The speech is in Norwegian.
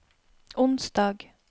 onsdag